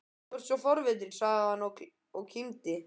Þú ert svo forvitinn sagði hann og kímdi.